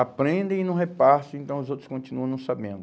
Aprendem e não repassam, então os outros continuam não sabendo.